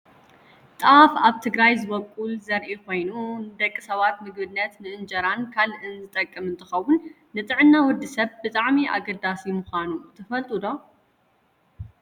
ጣፍ ኣብ ትግራይ ዝበቁል ዘርኢ ኮይኑ ንደቂ ሰባት ምግብነት ንእንጀራን ካልእን ዝጠቅም እንትከውን፣ ንጥዕና ወዲ ሰብ ብጣዕሚ ኣገዳሲ ምኳኑ ትፈልጡ ዶ ?